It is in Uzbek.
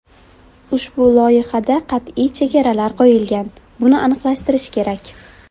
Ushbu loyihada qat’iy chegaralar qo‘yilgan, buni aniqlashtirish kerak.